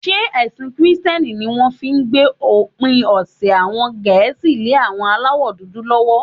Ṣé ẹ̀sìn kìrìtẹ́ní ní wọ́n fi gbé òpin ọ̀sẹ̀ àwọn Gẹ̀ẹ́sì lé àwọn aláwọ̀dúdú lọ́wọ́?